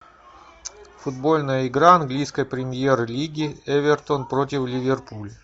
футбольная игра английской премьер лиги эвертон против ливерпуль